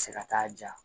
Se ka taa ja